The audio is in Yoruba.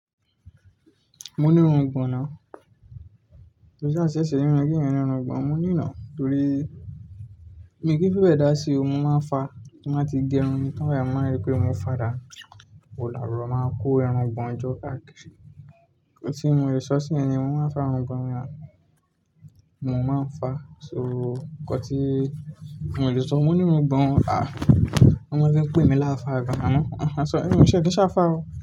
Mo ní irun gbọ̀n nà. Ní irun ìgbọ̀nà, mo ní ìnà torí mi kí fi bẹ́ẹ́ dá sí i, mọ máa ń fa tí bá ti gé irun mi tán báyì, mo máa ń ripé mo fà dánu, ewo la buro máa kó irun gbọ̀n jọ káàkiri. Òtí mo lè sọ sí ẹ ni mo máa ń fa irun ìgbọ̀nà mi náà, mo máa ń fa, so ọkọ tí mo lè sọ, mo ní irun ìgbọ̀nà, a, wọ́n máa ń fi pè mi láfa àga, màá mọ, "àhán sọ ẹ́, ṣé ẹ kí ń ṣàfa ó?"